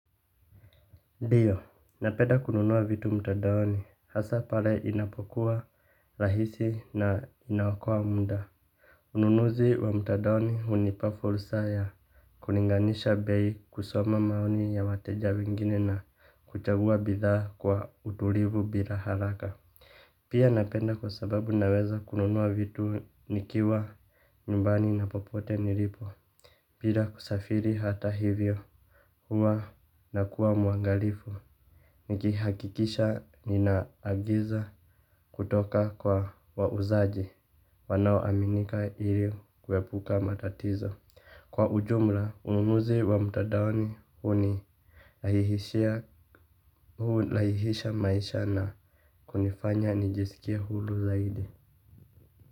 Ndio, napenda kununua vitu mtandaoni, hasa pale inapokuwa rahisi na inaokoa muda. Ununuzi wa mtandaoni hunipa fursa ya kulinganisha bei, kusoma maoni ya wateja wengine na kuchagua bidhaa kwa utulivu bila haraka. Pia napenda kwa sababu naweza kununua vitu nikiwa nyumbani na popote nilipo. Bila kusafiri hata hivyo, huwa nakuwa mwangalifu. Nikihakikisha ninaagiza kutoka kwa wauzaji. Wanaoaminika ili kuepuka matatizo. Kwa ujumla ununuzi wa mtadaoni hunirahisishia rahisisha maisha na kunifanya nijisikie huru zaidi.